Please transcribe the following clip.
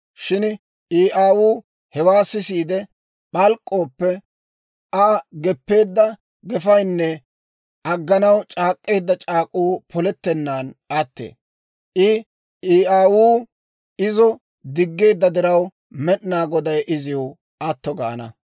Shin I aawuu hewaa sisiide p'alk'k'ooppe, Aa geppeedda gefaynne agganaw c'aak'k'eedda c'aak'uu polettennaan attee. I aawuu izo diggeedda diraw, Med'inaa Goday iziw atto gaana.